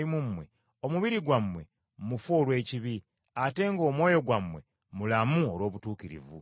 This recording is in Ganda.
Era obanga Kristo ali mu mmwe, omubiri gwammwe mufu olw’ekibi, ate ng’omwoyo gwammwe mulamu olw’obutuukirivu.